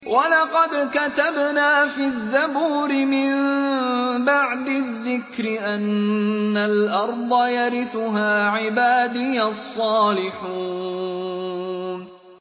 وَلَقَدْ كَتَبْنَا فِي الزَّبُورِ مِن بَعْدِ الذِّكْرِ أَنَّ الْأَرْضَ يَرِثُهَا عِبَادِيَ الصَّالِحُونَ